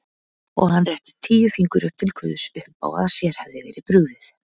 Og hann rétti tíu fingur upp til guðs uppá að sér hefði verið brugðið.